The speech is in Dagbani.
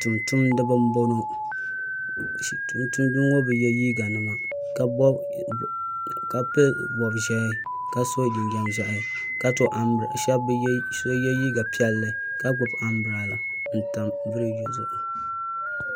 tumtumdiba n boŋɔ tumtumdiba ŋɔ bɛ ye liiga nima ka pili pobʒehi ka so jinjɛm ʒehi ka so ye liiga piɛlli ka gbibi ambilada n tam birigi zuɣu